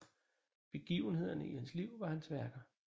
Begivenhederne i hans liv var hans værker